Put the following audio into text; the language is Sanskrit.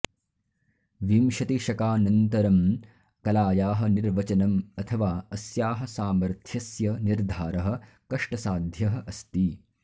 विंशतिशकानन्तरं कलायाः निर्वचनम् अथवा अस्याः सामर्थ्यस्य निर्धारः कष्टसाध्यः अस्ति